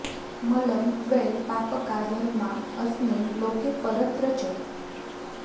मलं वै पापका धर्मा अस्मिन् लोके परत्र च